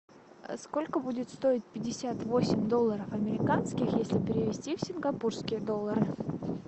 сколько будет стоить пятьдесят восемь долларов американских если перевести в сингапурские доллары